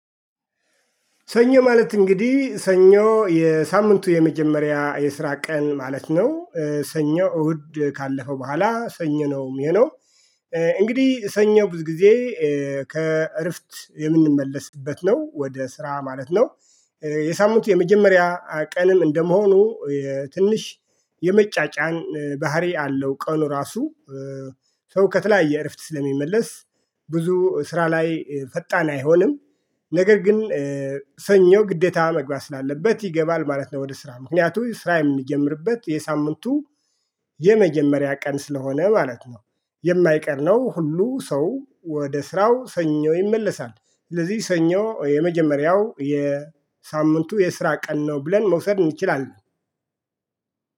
ሰኞ ማለት እንግዲህ ሰኞ የሳምንቱ የመጀመሪያ የስራ ቀን ማለት ነው ሰኞ እሁድ ካለፈ በኋላ ሰኞ ነው የሚሆነው እንግዲህ ሰኞ ብዙ ጊዜ ከእረፍት የምንመለስበት ነው ወደ ስራ ማለት ነው የሳምንቱ የመጀመሪያ ቀንም እንደመሆኑ ትንሽ የመጫጫን ባህሪ አለው ቀን ራሱ ሰው ከተለያየ እረፍት ስለሚመለስ ብዙ ስራ ላይ ፈጣን አይሆንም ነገር ግን ሰኞ ግዴታ መግባት ስላለበት ይገባል ማለት ነው ወደ ስራ ምክንያቱም ስራ የሚጀምርበት የሳምንቱ የመጀመሪያ ቀን ስለሆነ ማለት ነው የማይቀር ነው ሁሉ ሰው ወደ ስራው ሰኞ ይመለሳል ስለዚህ ሰኞ የመጀመሪያው የሳምንቱ የስራ ቀን ነው ብለን መውሰድ እንችላለን።